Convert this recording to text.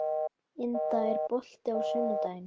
Helma, lækkaðu í græjunum.